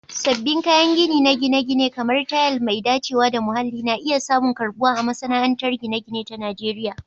Sabbin kayan gini na gine-gine, kamar tayal mai dacewa da muhalli, na iya samun karbuwa a masana'antar gine-gine ta Najeriya.